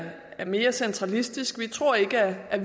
mere centralistisk vi tror ikke at